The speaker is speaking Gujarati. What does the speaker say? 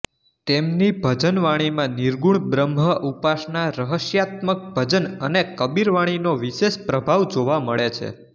તેમની ભજનવાણીમાં નિર્ગુણ બ્રહ્મ ઉપાસના રહસ્યાત્મક ભજન અને કબીરવાણીનો વિશેષ પ્રભાવ જોવા મળે છે